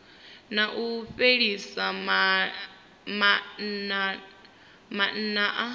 na u fhelisa maana a